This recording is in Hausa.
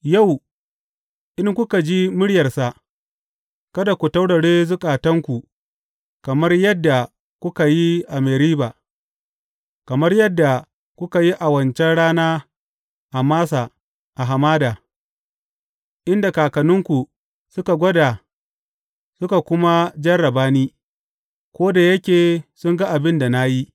Yau, in kuka ji muryarsa, Kada ku taurare zukatanku kamar yadda kuka yi a Meriba, kamar yadda kuka yi a wancan rana a Massa a hamada, inda kakanninku suka gwada suka kuma jarraba ni, ko da yake sun ga abin da na yi.